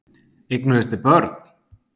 Eignuðust þið börn?